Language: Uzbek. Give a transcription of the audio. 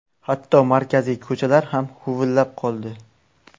Hatto markaziy ko‘chalar ham huvullab qoldi.